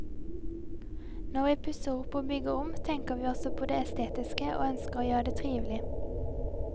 Når vi pusser opp og bygger om, tenker vi også på det estetiske og ønsker å gjøre det trivelig.